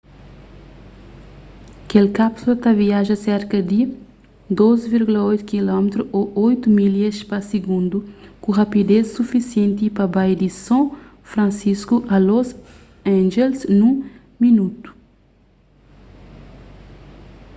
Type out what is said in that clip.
kel kápsula ta viaja serka di 12,8 km ô 8 milhas pa sigundu ku rápides sufisienti pa bai di son fransisku a los angeles nun minotu